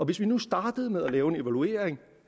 hvis vi nu startede med at lave en evaluering